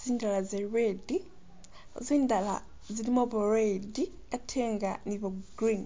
zindala za red, zindala zilimu bwa red ate nga ni bwa green.